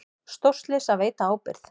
Stórslys að veita ábyrgð